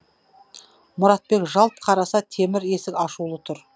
мұратбек жалт қараса темір есік ашулы тұр